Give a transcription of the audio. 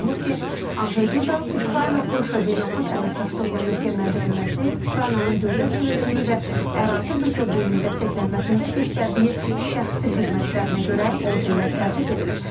Qeyd olunub ki, Anjey Duda Ukrayna-Polşa beynəlxalq əməkdaşlığının möhkəmləndirilməsi, Ukraynanın dövlət suverenliyi və ərazi bütövlüyünün dəstəklənməsində göstərdiyi şəxsi xidmətlərinə görə ordenlə təltif edilib.